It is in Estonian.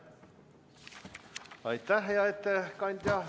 Aitäh, hea ettekandja!